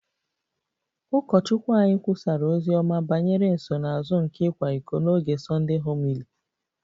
Ụkọchukwu anyị kwusara ozi ọma banyere nsonaazụ nke ịkwa iko n'oge Sunday homily